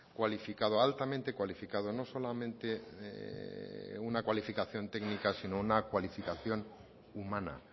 cualificado altamente cualificado no solamente una cualificación técnica sino una cualificación humana